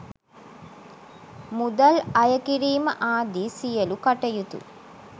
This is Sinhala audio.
මුදල් අය කිරීම ආදී සියලූ කටයුතු